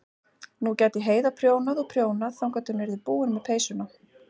Nú gæti Heiða prjónað og prjónað þangað til hún yrði búin með peysurnar.